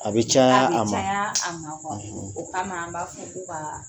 A bɛ caya a ma a bɛ caya a ma kuwa o kama an b'a fo ko ka